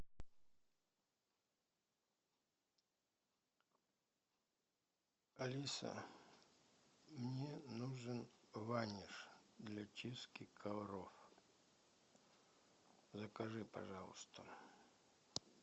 алиса мне нужен ваниш для чистки ковров закажи пожалуйста